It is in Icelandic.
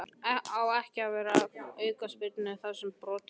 Á ekki að veita aukaspyrnu þar sem brotið hefst?